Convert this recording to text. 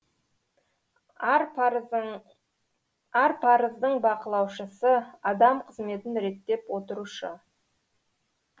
ар парыздың бақылаушысы адам қызметін реттеп отырушы